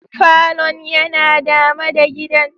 Falon yana dama da gidan.